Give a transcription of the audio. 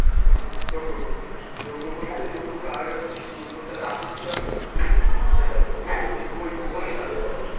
হ্যাঁ যোগ্য করতো যোগ্য করতে আগেকার দিনে যোগ্য করতে একটা আহুতি লাগতো না সেটা বলি লাগতো আর কি